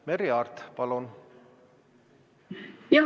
Merry Aart, palun!